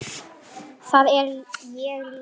Það er ég líka